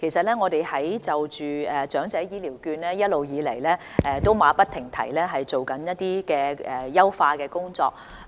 其實在長者醫療券方面，我們一直馬不停蹄地進行優化工作。